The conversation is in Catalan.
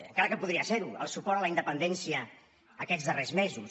encara que podria ser ho el suport a la independència aquests darrers mesos